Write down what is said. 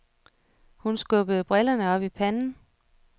Hun skubbede brillerne op i panden.